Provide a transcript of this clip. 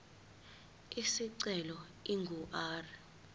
isicelo ingu r